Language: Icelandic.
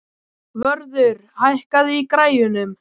Vörður, hækkaðu í græjunum.